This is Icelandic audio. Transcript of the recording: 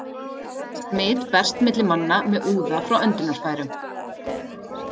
Smit berst milli manna með úða frá öndunarfærum.